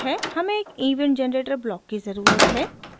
हमें एक event generator block की ज़रुरत है